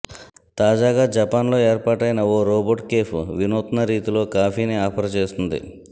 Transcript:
తాజాగా జపాన్లో ఏర్పాటైన ఓ రోబోట్ కేఫ్ వినూత్న రీతిలో కాఫీని ఆఫర్ చేస్తోంది